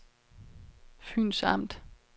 Fyns Amt